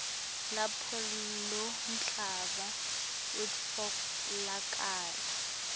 lapho lomhlaba utfolakala